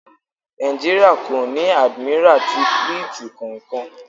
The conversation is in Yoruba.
Nàìjíríà kò ní Àdìmírà ti Fílítìì kankan.